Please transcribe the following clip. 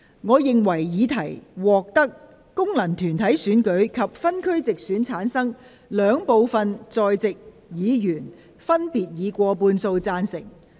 我認為議題獲得經由功能團體選舉產生及分區直接選舉產生的兩部分在席議員，分別以過半數贊成。